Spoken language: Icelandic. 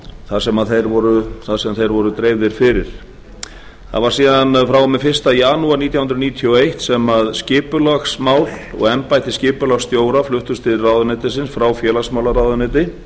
þar sem þeir voru dreifðir fyrir það var síðan frá og með fyrsta janúar nítján hundruð níutíu og eitt sem skipulagsmál og embætti skipulagsstjóra fluttust til ráðuneytisins frá félagsmálaráðuneyti